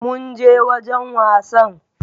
Mun je wajan wasann